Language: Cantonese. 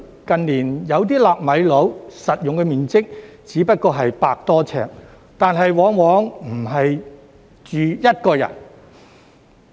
近年，有些"納米樓"的實用面積只得100多平方呎，但往往不是一個人住。